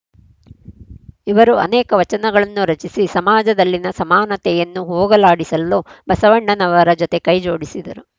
ಇವರು ಅನೇಕ ವಚನಗಳನ್ನು ರಚಿಸಿ ಸಮಾಜದಲ್ಲಿನ ಸಮಾನತೆಯನ್ನು ಹೋಗಲಾಡಿಸಲು ಬಸವಣ್ಣನವರ ಜೊತೆ ಕೈ ಜೋಡಿಸಿದರು